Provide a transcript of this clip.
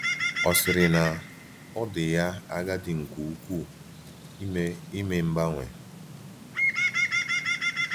Ọ̀ sịrị na ọ dị ya agadi nke ukwuu ime ime mgbanwe?